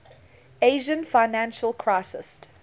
asian financial crisis